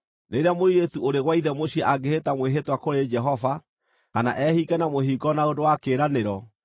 “Rĩrĩa mũirĩtu ũrĩ gwa ithe mũciĩ angĩĩhĩta mwĩhĩtwa kũrĩ Jehova, kana ehinge na mũhingo na ũndũ wa kĩĩranĩro,